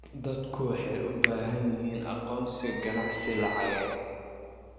Dadku waxay u baahan yihiin aqoonsi ganacsi lacageed.